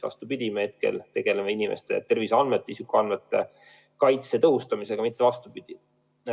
Me tegeleme inimeste terviseandmete, isikuandmete kaitse tõhustamisega, mitte vastupidi.